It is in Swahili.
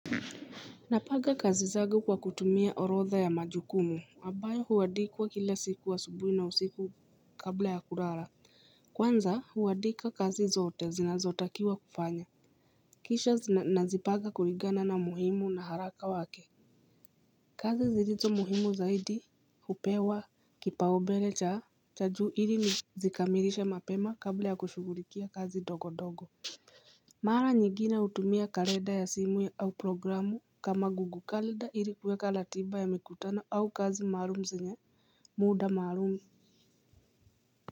Napanga kazi zagu kwa kutumia orotha ya majukumu ambayo huandikwa kila siku wa asubuhi na usiku kabla ya kulala Kwanza huandika kazi zote zinazotakiwa kufanya Kisha nazipaga kulingana na muhimu na haraka wake kazi zilizo muhimu zaidi hupewa kipaumbele cha juu ili nizikamilishe mapema kabla ya kushughulikia kazi ndogo ndogo Mara nyigine hutumia kalenda ya simu ya au programu kama google kalenda ili kuweka ratiba ya mikutano au kazi maalum zenye muda maalum.